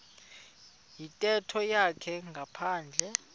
yintetho yakhe ngaphandle